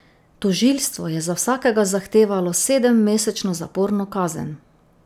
Tožilstvo je za vsakega zahtevalo sedemmesečno zaporno kazen.